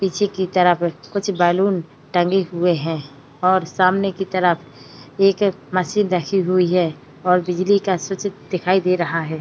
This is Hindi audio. पीछे की तरफ कुछ बलून टंगी हुए हैं और सामने की तरफ एक मशीन रखी हुई है और बिजली का स्विच दिखाई दे रहा है।